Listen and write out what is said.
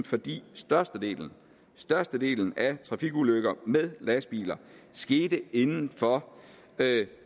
fordi størstedelen størstedelen af trafikulykker med lastbiler skete inden for